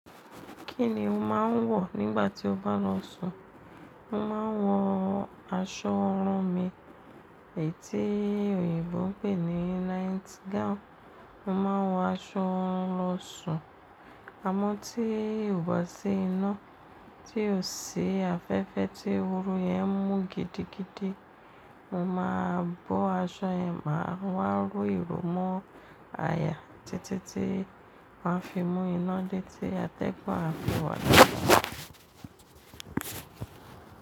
Kí ni o máà ń wọ̀ nígbà tí o bá lọ sùn? Mo máa ń wọ aṣọ orùn mi èyí tí òyìnbó ń pè ní night gown. Mo máà wọ aṣọ lọ sùn, á mọ́ tí oba sí iná, tí o sì afẹ́fẹ́ tí ooru yẹn mú gidigidi. Mo máa bọ́ aṣọ yẹn máa wa ro iro mó aya títí tí wọn fi mú iná dé tí atẹ́gùn a fi wà.